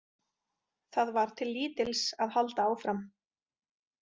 Það var til lítils að halda áfram.